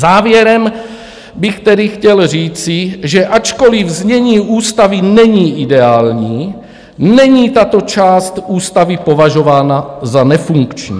Závěrem bych tedy chtěl říci, že ačkoliv znění ústavy není ideální, není tato část ústavy považována za nefunkční.